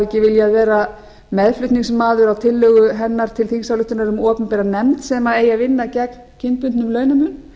ekki viljað vera meðflutningsmaður á tillögu hennar til þingsályktunar um opinbera nefnd sem eigi að vinna gegn kynbundnum